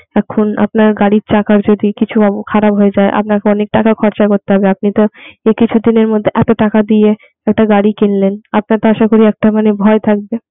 এখন আপনার গাড়ির চাকার যদি কিছু অব খারাপ হয়ে যায় আপনাকে অনেক টাকা খরচা করতে হবে আপনি তো এই কিছুদিনের মধ্যে এতো টাকা দিয়ে একটা গাড়ি কিনলেন আপনার তো আশাকরি একটা ভয় থাকবে.